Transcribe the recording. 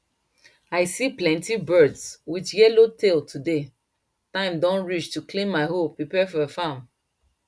i see plenty birds with yellow tail today time don reach to clean my hoe prepare fir farm